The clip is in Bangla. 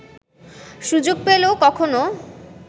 সুযোগ পেলেও কখনও